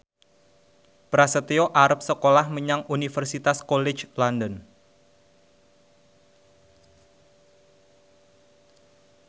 Prasetyo arep sekolah menyang Universitas College London